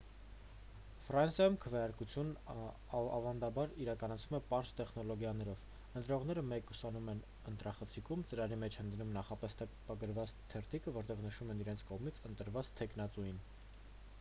ֆրանսիայում քվեարկությունն ավանդաբար իրականացվում է պարզ տեխնոլոգիաներով ընտրողները մեկուսանում են ընտրախցիկում ծրարի մեջ են դնում նախապես տպագրված թերթիկը որտեղ նշում են իրենց կողմից ընտրված թեկնածուին